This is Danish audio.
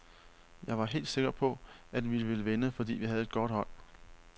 Jeg var helt sikker på, at vi ville vinde, fordi vi havde et godt hold.